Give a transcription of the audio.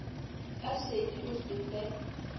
ka šedi o se fe